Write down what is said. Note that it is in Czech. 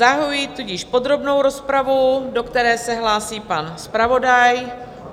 Zahajuji tudíž podrobnou rozpravu, do které se hlásí pan zpravodaj.